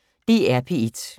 DR P1